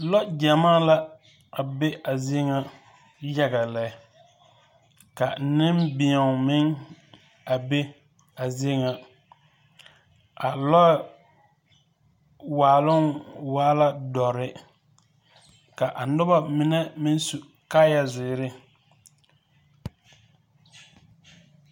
Lɔɔ gyamaa la be a zie ŋa yaga lɛ. Ka nembeɛo meŋ a be a zie ŋa. A lɔɛ waaloŋ waa la dɔre. Ka a noba mine meŋ su kaaya dɔre.